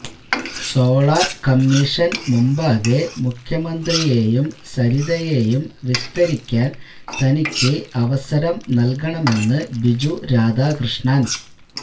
solar commission മുമ്പാകെ മുഖ്യമന്ത്രിയേയും സരിതയേയും വിസ്തരിക്കാന് തനിക്ക് അവസരം നല്കണമെന്ന് ബിജു രാധാകൃഷ്ണന്